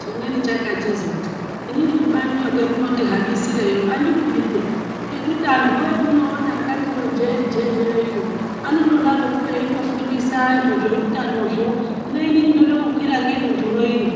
Chimweni chakachizoti inini kubaniyo kwamunotihambisireyo handikudi peya. Ngekuti antuvo munoona akati iyo jee-jee yoiyo anondodaroko eindofundisa antu zvoutanozvo. Hino inini ndoda kukwira ngedunhu roiro